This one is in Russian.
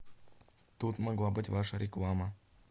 тут могла быть ваша реклама